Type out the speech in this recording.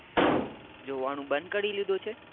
જોવાનું બંદ કરી લીધું છે